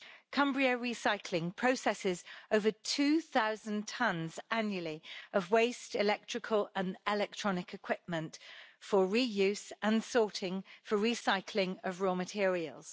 Cumbria Recycling processes over 2000 tons annually of waste and electrical and electronic equipment for the reuse and sorting for recycling of raw materials.